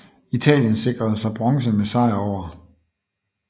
Italien sikrede sig bronze med sejr over